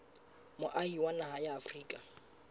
moahi wa naha ya afrika